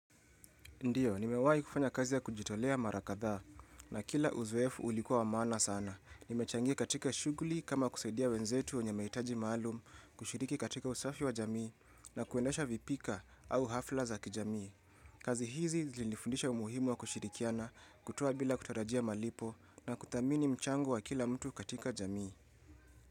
Ndiyo, nimewahi kufanya kazi ya kujitolea mara kadhaa na kila uzoefu ulikuwa wa maana sana. Nimechangia katika shughuli kama kusaidia wenzetu wenye mahitaji maalum, kushiriki katika usafi wa jamii na kuendesha vipika au hafla za kijamii. Kazi hizi zilifundisha umuhimu wa kushirikiana, kutoa bila kutarajia malipo na kuthamini mchango wa kila mtu katika jamii.